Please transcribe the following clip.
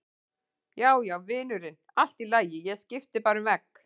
Já, já, vinurinn, allt í lagi, ég skipti bara um vegg.